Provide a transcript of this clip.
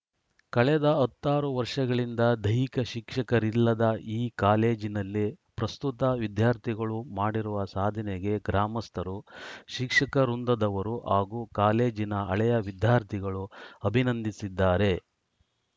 ಕಳೆದ ಹತ್ತಾರೂ ವರ್ಷಗಳಿಂದ ದೈಹಿಕ ಶಿಕ್ಷಕರಿಲ್ಲದ ಈ ಕಾಲೇಜಿನಲ್ಲಿ ಪ್ರಸ್ತುತ ವಿದ್ಯಾರ್ಥಿಗಳು ಮಾಡಿರುವ ಸಾಧನೆಗೆ ಗ್ರಾಮಸ್ಥರು ಶಿಕ್ಷಕ ವೃಂದದವರು ಹಾಗೂ ಕಾಲೇಜಿನ ಹಳೇಯ ವಿದ್ಯಾರ್ಥಿಗಳು ಅಭಿನಂದಿಸಿದ್ದಾರೆ